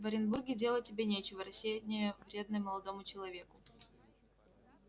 в оренбурге делать тебе нечего рассеяние вредно молодому человеку